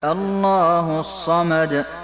اللَّهُ الصَّمَدُ